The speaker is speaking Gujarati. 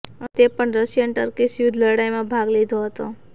અને તે પણ રશિયન ટર્કીશ યુદ્ધ લડાઇમાં ભાગ લીધો હતો